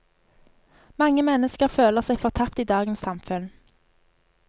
Mange mennesker føler seg fortapt i dagens samfunn.